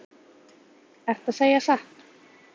Ertu að segja satt?